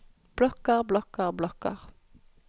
blokker blokker blokker